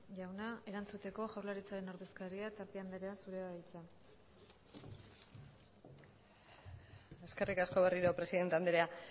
jauna erantzuteko jaurlaritzaren ordezkaria tapia andrea zurea da hitza eskerrik asko berriro presidente andrea